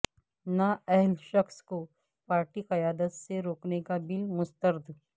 نااہل شخص کو پارٹی قیادت سے روکنے کا بل مسترد